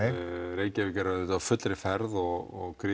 Reykjavík er auðvitað á fullri ferð og